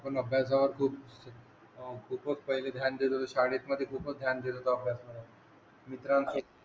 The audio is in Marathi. शाळे मध्ये खूपच ध्यान दिलं होता अभ्यास मध्ये मित्रां पेक्षा